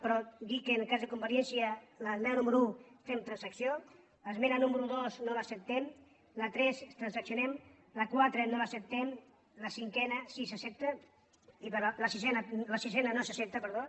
però dir que en el cas de convergència en l’esmena número un fem transacció l’esmena número dos no l’ac·ceptem la tres la transaccionem la quatre no l’acceptem la cinquena sí que s’accepta la sisena no s’accepta per·dó